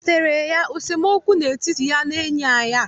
O wetaara ya esemookwu n'etiti ya na enyi ya